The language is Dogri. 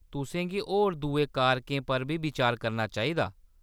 तुसें गी होर दुए कारकें पर बी बिचार करना चाहिदा।